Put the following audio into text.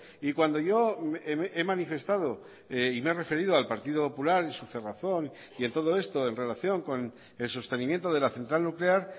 y cuando yo he manifestado y me he referido al partido popular y su cerrazón y en todo esto en relación con el sostenimiento de la central nuclear